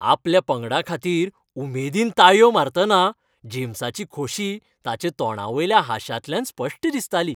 आपल्या पंगडा खातीर उमेदीन ताळयो मारतना जेम्साची खोशी ताच्या तोंडावयल्या हांशातल्यान स्पश्ट दिसताली.